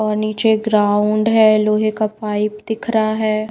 और नीचे ग्राउंड है लोहे का पाइप दिख रहा है।